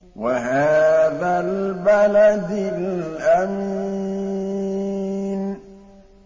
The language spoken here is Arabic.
وَهَٰذَا الْبَلَدِ الْأَمِينِ